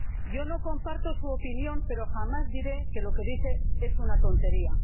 Yo no comparto su opinión, pero jamás diré que lo que dice es una tontería.